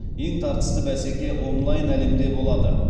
ең тартысты бәсеке онлайн әлемде болады